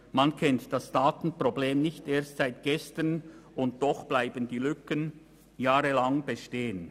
» Man kennt das Datenproblem nicht erst seit gestern, und doch bleiben die Lücken jahrelang bestehen.